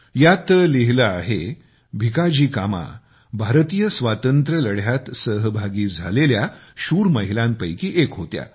यात लिहिले आहे भिकाजी कामा भारतीय स्वातंत्र्य लढ्यात सहभागी झालेल्या शूर महिलांपैकी एक होत्या